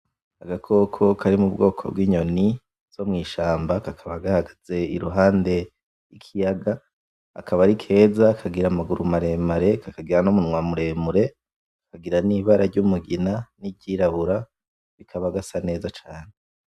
Agakoko kari mubwoko bw'inyoni zo mwishamba, kakaba gahagaze iruhande y'ikiyaga akaba ari keza, kagira amaguru maremare, kakagira n'umunwa muremure, kagira nibara ry'umugina n'iryiruburu kakaba gasa neza cane.